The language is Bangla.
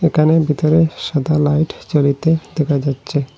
একানে বিতরে সাদা লাইট জ্বলিতে দেখা যাচ্ছে।